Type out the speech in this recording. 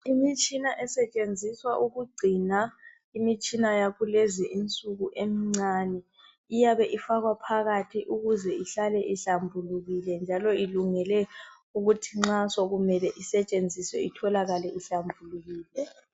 Imitshina esetshenziswa ukugcina imitshina yakulezi insuku emncane iyaba ifakwa phakathi ukuze ihlale ihlambulukile njalo ilungele ukuthi nxa sokumele isetshenziswe itholakale ihlambulukile.